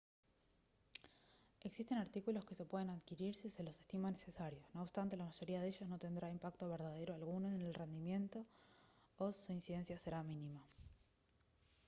existen artículos que se pueden adquirir si se los estima necesarios no obstante la mayoría de ellos no tendrá impacto verdadero alguno en el rendimiento o su incidencia será mínima